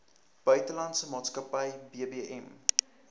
buitelandse maatskappy bbm